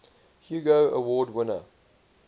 hugo award winner